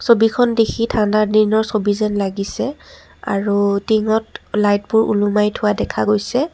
ছবিখন দেখি ঠাণ্ডা দিনৰ ছবি যেন লাগিছে আৰু টিঙত লাইটবোৰ ওলোমাই থোৱা দেখা গৈছে।